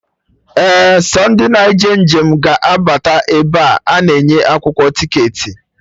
Ee, sọ ndị na eje njem ga abata ebe a na-enye akwụkwọ ticketị